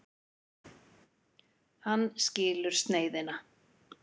Hann skilur sneiðina.